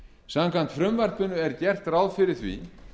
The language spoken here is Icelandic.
samkvæmt frumvarpinu er gert ráð fyrir því